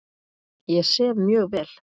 Ég sef mjög vel.